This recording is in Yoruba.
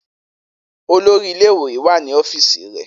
Olori ile-iwe wa ni ọfiisi rẹ.